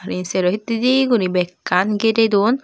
e sero hittedi guri bhekkan girey don.